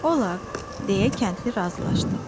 "Olaq" deyə kəndli razılaşdı.